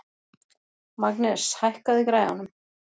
Magnes, hækkaðu í græjunum.